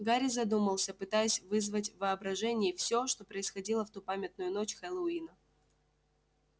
гарри задумался пытаясь вызвать в воображении всё что происходило в ту памятную ночь хэллоуина